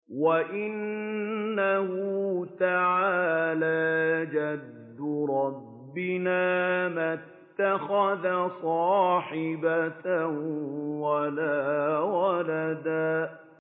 وَأَنَّهُ تَعَالَىٰ جَدُّ رَبِّنَا مَا اتَّخَذَ صَاحِبَةً وَلَا وَلَدًا